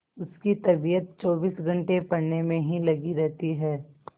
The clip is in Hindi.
उसकी तबीयत चौबीस घंटे पढ़ने में ही लगी रहती है